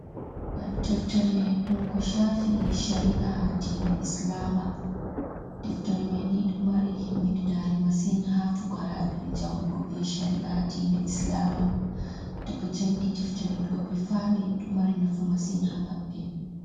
Ɗeftere dum ko shafi shari’a diina islama. Ɗeftere mai ni do mari himmidinare masin ha fukaraɓi janguɓe shari'a diina islama. to ɓe jangi diftere doɓe fami do mari nafu masin ha maɓbe.